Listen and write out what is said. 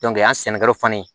an sɛnɛkɛlaw fan ye